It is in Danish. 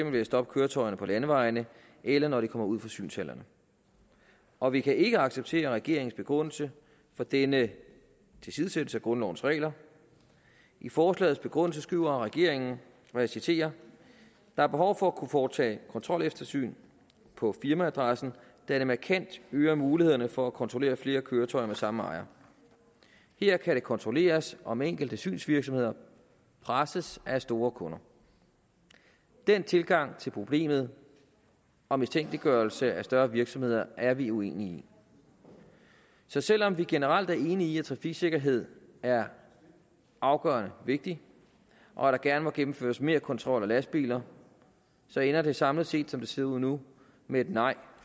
ved at stoppe køretøjerne på landevejene eller når de kommer ud fra synshallerne og vi kan ikke acceptere regeringens begrundelse for denne tilsidesættelse af grundlovens regler i forslagets begrundelse skriver regeringen og jeg citerer der er behov for at kunne foretage kontrolsyn på firmaadressen da det markant øger mulighederne for at kontrollere flere køretøjer med samme ejer her kan det kontrolleres om enkelte synsvirksomheder presses af store kunder den tilgang til problemet og mistænkeliggørelse af større virksomheder er vi uenige i så selv om vi generelt er enige i at trafiksikkerhed er afgørende vigtigt og at der gerne må gennemføres mere kontrol af lastbiler så ender det samlet set som det ser ud nu med et nej